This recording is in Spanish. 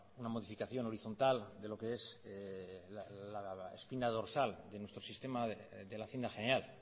una modificación horizontal de lo que es la espina dorsal de nuestro sistema de la hacienda general